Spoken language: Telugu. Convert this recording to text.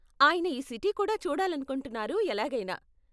ఆయన ఈ సిటీ కూడా చూడాలనుకుంటున్నారు, ఎలాగైనా.